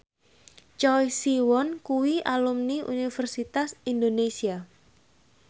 Choi Siwon kuwi alumni Universitas Indonesia